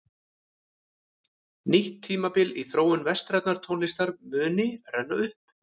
Nýtt tímabil í þróun vestrænnar tónlistar muni renna upp.